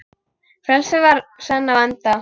Frelsið var senn á enda.